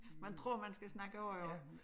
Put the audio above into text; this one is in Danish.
Man tror man skal snakke højere